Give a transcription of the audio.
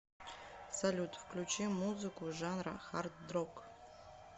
салют включи музыку жанра хардрок